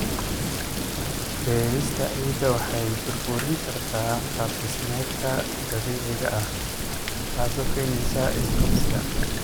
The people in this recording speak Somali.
Beerista ciidda waxay burburin kartaa qaab-dhismeedkeeda dabiiciga ah, taasoo keenaysa is-qabsi.